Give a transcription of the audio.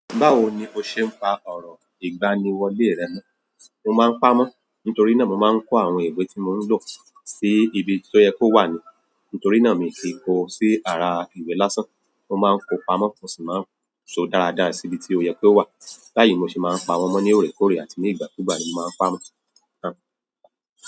Báwo ni o ṣe ń pa ọ̀rọ̀ ìgbaniwọlé rẹ mọ́? Mo máa ń paá mọ́ nítorí náà mo máa ń kó àwọn ìwé tí mò ń lò sí ibi tó yẹ kó wà ni. Nítorí náà miì kì í kó o sí ara ìwé lásán. Mo máa ń kóo pamọ́, mo sì máa ń so dáradára sí ibi tí ó yẹ kó wà. Báyìí mo sì máa ń pa wọ́n mọ́ ní òòrèkóòrè àti ní ìgbàkúùgbà ni mo máa ń pamọ́.